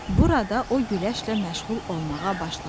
Burada o güləşlə məşğul olmağa başladı.